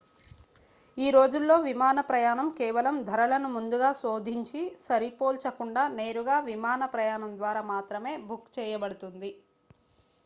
ఈ రోజుల్లో విమాన ప్రయాణం కేవలం ధరలను ముందుగా శోధించి సరిపోల్చకుండా నేరుగా విమాన ప్రయాణం ద్వారా మాత్రమే బుక్ చేయబడుతుంది